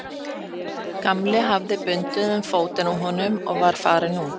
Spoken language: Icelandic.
Gamli hafði bundið um fótinn á honum og var farinn út.